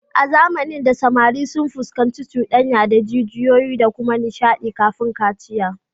A zamanin da, samari sun fuskanci cuɗanya da jijiyoyi da kuma nishadi kafin kaciya